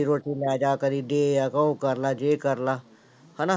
ਰੋਟੀ ਲੈ ਜਾ ਕਦੇ ਦੇ ਆ, ਉਹ ਕਰ ਲਾ ਜੇ ਕਰ ਲਾ ਹਨਾ।